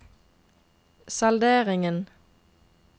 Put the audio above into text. salderingen